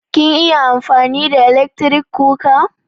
Kin iya amfani da ilekri kuwa?